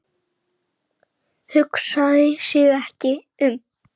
Hugsaði sig ekki um!